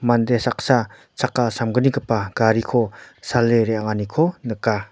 mande saksa chakka samgnigipa gariko sale re·anganiko nika.